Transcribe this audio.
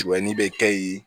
bɛ kɛ yen